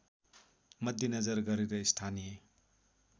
मध्यनजर गरेर स्थानीय